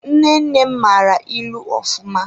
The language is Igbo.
Nne nne nne m mara ịlụ ofụma.